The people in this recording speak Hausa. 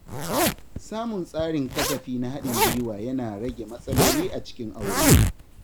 Samun tsarin kasafi na haɗin gwiwa yana rage matsaloli a cikin aure.